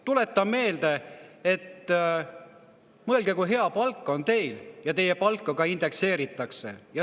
Tuletan meelde: mõelge, kui hea palk on teil, ja teie palka indekseeritakse.